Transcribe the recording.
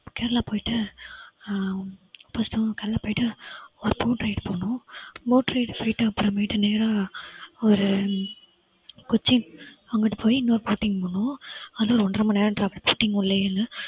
கேரளா போயிட்டு அஹ் காலையிலே போயிட்டு, boat ride போயிட்டு அப்புறமேட்டு நேரா ஒரு கொச்சின் அங்கிட்டு போயி இன்னொரு boating போனோம். அது ஒரு ஒண்றரை மணி நேரம் travel boating உள்ளையே எல்லாம்